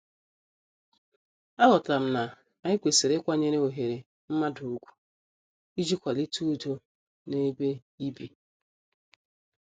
A ghotaram na-anyi kwesịrị ịkwanyere oghere mmadụ ugwu iji kwalite udo na-ebe ibi.